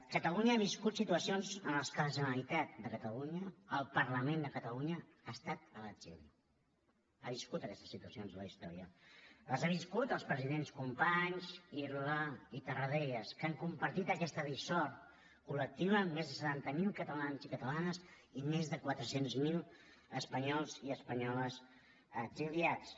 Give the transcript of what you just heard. catalunya ha viscut situacions en què la generalitat de catalunya el parlament de catalunya ha estat a l’exili ha viscut aquestes situacions en la història les han viscut els presidents companys irla i tarradellas que han compartit aquesta dissort col·lectiva amb més de setanta miler catalans i catalanes i més de quatre cents miler espanyols i espanyoles exiliats